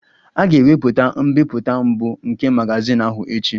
A ga-ewepụta mbipụta mbụ nke magazin ahụ echi